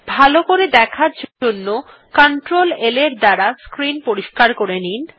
ভালো করে দেখার জন্য কন্ট্রোল L এর দ্বারা স্ক্রিন পরিস্কার করে নিন